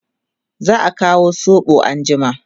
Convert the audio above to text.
za'a Kawo soɓo anjima